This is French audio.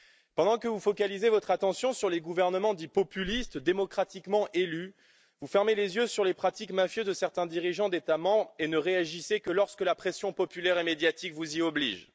Pendant que vous focalisez votre attention sur les gouvernements dits populistes, démocratiquement élus, vous fermez les yeux sur les pratiques mafieuses de certains dirigeants d'États membres et ne réagissez que lorsque la pression populaire et médiatique vous y oblige.